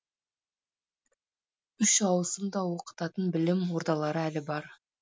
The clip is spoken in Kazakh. үш ауысымда оқытатын білім ордалары әлі бар